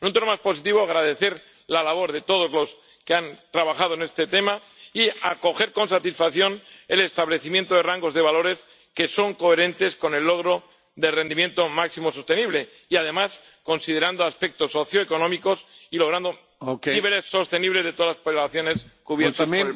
En un tono más positivo, quisiera agradecer la labor de todos los que han trabajado en este tema y acoger con satisfacción el establecimiento de rangos de valores que son coherentes con el logro del rendimiento máximo sostenible y, además, considerando aspectos socioeconómicos y logrando niveles sostenibles de todas las poblaciones cubiertas por el plan.